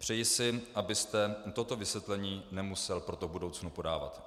Přeji si, abyste toto vysvětlení nemusel proto v budoucnu podávat.